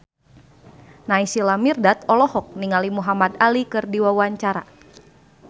Naysila Mirdad olohok ningali Muhamad Ali keur diwawancara